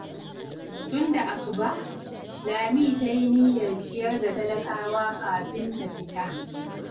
Tun da asuba, Lami ta yi niyyar ciyar da talakawa kafin ta fita.